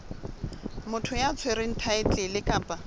motho ya tshwereng thaetlele kapa